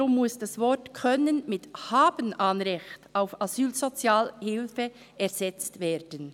Deshalb muss das Wort «können» durch «haben ein Anrecht auf Asylsozialhilfe» ersetzt werden.